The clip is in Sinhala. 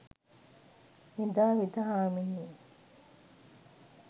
මෙදා වෙද හාමිනේ